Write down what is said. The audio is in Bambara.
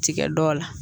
Tigɛ dɔw la